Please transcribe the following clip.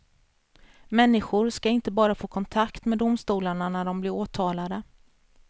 Människor skall inte bara få kontakt med domstolarna när de blir åtalade.